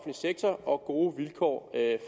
sektor og gode vilkår